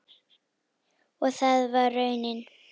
Og það varð raunin.